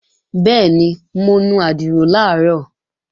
Bẹ́ẹ̀ni, mo nu àdìrò làárọ̀